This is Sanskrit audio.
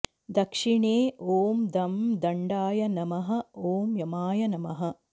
दक्षिणे ॐ दं दण्डाय नमः ॐ यमाय नमः